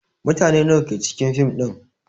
Mutane nawa ke cikin fim din?